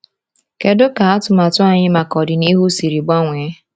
Kedu ka atụmatụ anyị maka ọdịnihu siri gbanwee?